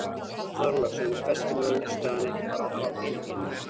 Björn Þorláksson: Hvers vegna léstu hann ekki bara hafa peninginn?